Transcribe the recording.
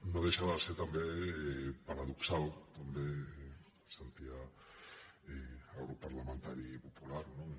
no deixa de ser també paradoxal també sentia el grup parlamentari popular no